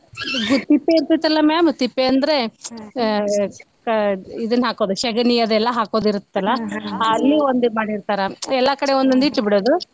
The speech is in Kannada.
ಗೂ~ ತಿಪ್ಪೇ ಇರ್ತಿತಲ್ಲ ma'am ತಿಪ್ಪೇ ಅಂದ್ರೆ ಅ~ ಕ ~ ಇದನ್ನ ಹಾಕೋದ್ ಶಗಣಿ ಅದೆಲ್ಲಾ ಹಾಕೋದಿರುತ್ತಲ್ಲ ಅಲ್ಲಿ ಒಂದ್ ಮಾಡೀರ್ತಾರಾ ಎಲ್ಲಾ ಕಡೆ ಒಂದೊಂದ್ ಇಟ್ಟ್ಬಿ ಡುದು.